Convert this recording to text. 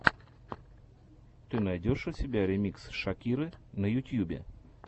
ты найдешь у себя ремикс шакиры на ютьюбе